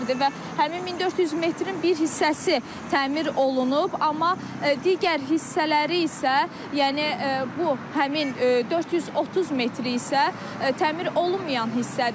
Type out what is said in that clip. Və həmin 1400 metrin bir hissəsi təmir olunub, amma digər hissələri isə, yəni bu həmin 430 metri isə təmir olunmayan hissədir.